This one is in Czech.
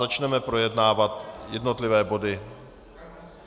Začneme projednávat jednotlivé body.